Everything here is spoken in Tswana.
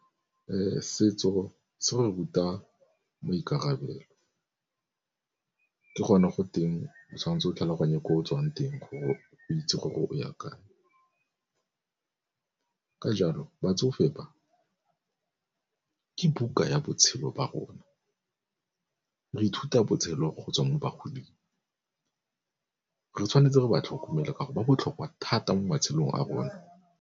Setso se re ruta maikarabelo, ke gone go teng o tshwanetse o tlhaloganye ko o tswang teng gore o itse gore o ya kae. Ka jalo batsofe ba ke buka ya botshelo ba rona, re ithuta botshelo go tswa mo bagoding re tshwanetse re ba tlhokomela ka gore ba botlhokwa thata mo matshelong a rona.